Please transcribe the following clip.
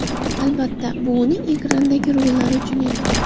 Albatta, bu uning ekrandagi rollari uchun edi.